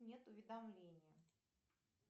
нет уведомления